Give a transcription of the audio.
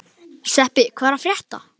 Sveppi, hvað er að frétta?